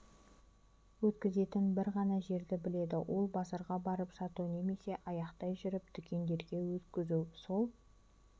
өткізетін бір ғана жерді біледі ол базарға барып сату немесе аяқтай жүріп дүкендерге өткізу сол